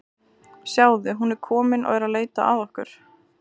Sjáðu, hún er komin og er að leita að okkur.